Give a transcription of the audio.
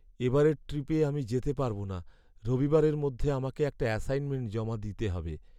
এবারের ট্রিপে আমি যেতে পারবো না। রবিবারের মধ্যে আমাকে একটা অ্যাসাইনমেন্ট জমা দিতে হবে।